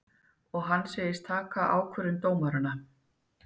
Og hann segist taka ákvörðun dómaranna